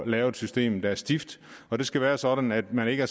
lave et system der er stift og det skal være sådan at man ikke